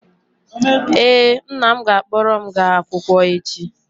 ee, nna m ga-akpọrọ m gaa akwụkwọ echi